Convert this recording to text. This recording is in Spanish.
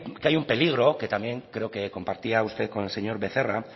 que hay un peligro que también compartía usted con el señor becerra